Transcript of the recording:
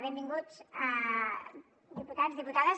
benvinguts diputats diputades